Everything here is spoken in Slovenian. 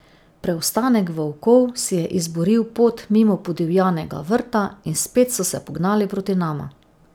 Preostanek volkov si je izboril pot mimo podivjanega vrta in spet so se pognali proti nama.